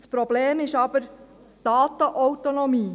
Das Problem ist aber die Datenautonomie.